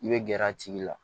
I bɛ gɛrɛ a tigi la